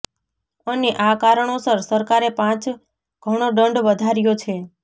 અને આ કારણોસર સરકારે પાંચ ઘણો દંડ વધાર્યો છે